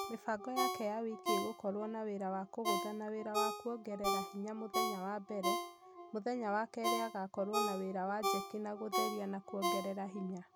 Mĩbango yake ya wiki igũkorwo na wĩra wa kũgutha na wĩra wa kũongerera hinya mũthenya wa mbere, mũthenya wa kerĩ agakorwo na wĩra wa jeki na gũtheria na kũogerera hinya